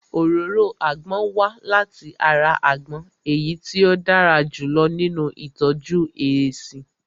Òróró àgbon wá láti ara àgbon èyí tí ó dára jù lọ nínu ìtọ́jú èéṣí